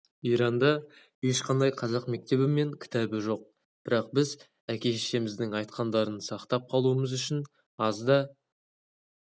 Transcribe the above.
иранда ешқандай қазақ мектебі мен кітабы жоқ бірақ біз әке-шешеміздің айтқандарын сақтап қалуымыз үшін аз да